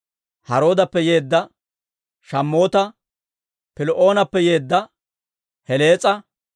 Haroodappe yeedda Shammoota, Piloonappe yeedda Helees'a,